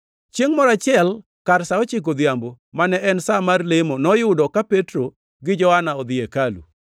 Chiengʼ moro achiel, kar sa ochiko odhiambo, mane en sa mar lemo noyudo ka Petro gi Johana odhi e hekalu.